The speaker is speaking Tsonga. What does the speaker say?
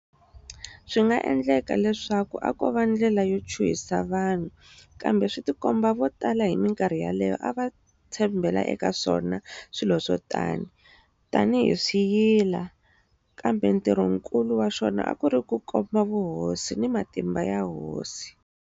Swi nga endleka leswaku a kova ndlela ya ku chuhisa vanhu, kambe swi ti komba vo tala hi minkarhi yaleyo a va tshembhela eka swona swilo swo tani, tani hi swiyila, kambe ntirhonkulu wa xona a ku ri ku komba vuhosi ni matimba ya hosi.